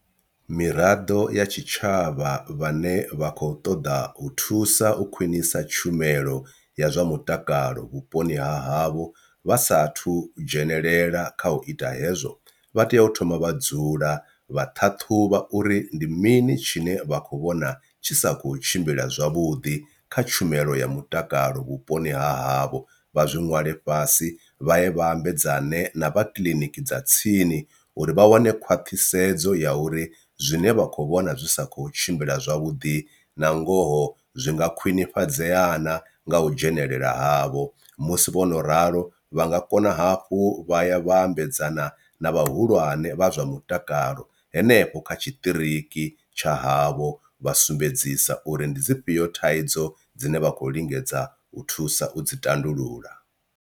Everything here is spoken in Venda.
Miraḓo ya tshitshavha vhane vha khou ṱoḓa u thusa u khwinisa tshumelo ya zwa mutakalo vhuponi ha havho vha sathu udzhenelela kha u ita hezwo vha tea u thoma vha dzula vha ṱhaṱhuvha uri ndi mini tshine vha khou vhona tshi sa khou tshimbila zwavhuḓi kha tshumelo ya mutakalo vhuponi ha havho. Vha zwi ṅwalwe fhasi vha ye vhambedzana na vha kiḽiniki dza tsini uri vha wane khwaṱhisedzo ya uri zwine vha kho vhona zwi sa kho tshimbila zwavhuḓi na ngoho zwi nga khwinifhadzeya na nga u dzhenelela havho, musi vhono ralo vha nga kona hafhu vha ya vhambedzana na vhahulwane vha zwa mutakalo henefho kha tshiṱiriki tsha havho vha sumbedzisa uri ndi dzifhio thaidzo dzine vha khou lingedza u thusa u dzi tandulula.